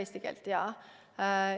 Kas ta räägib eesti keelt?